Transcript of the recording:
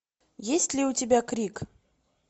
есть ли у тебя крик